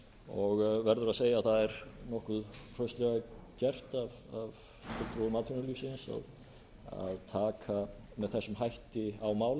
og verður að segja að það er nokkuð hraustlega get af fulltrúum atvinnulífsins að taka með þessum hætti á málum því auðvitað mun